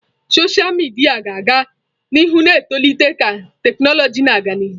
Sọsha midia ga-aga n'ihu na-etolite ka tekinọloji na-aga n'ihu.